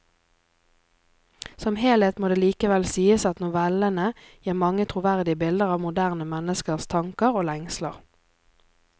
Som helhet må det likevel sies at novellene gir mange troverdige bilder av moderne menneskers tanker og lengsler.